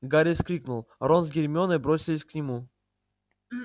гарри вскрикнул рон с гермионой бросились к нему